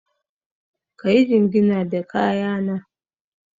Ka yi jingina da kaya na.